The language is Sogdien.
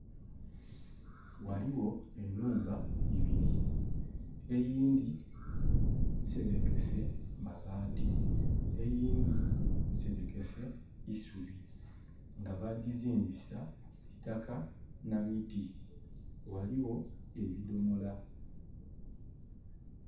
Ghaligho enhumba ibili. Eyindhi nserekese mabaati. Eyindhi nserekese isubi, nga bagizimbisa, itaka nha miti. Ghaligho ebidhomola.